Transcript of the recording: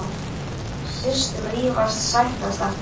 Systur rífast, sættast aftur.